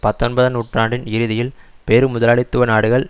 பத்தொன்பதாம் நூற்றாண்டின் இறுதியில் பெரும் முதலாளித்துவ நாடுகள்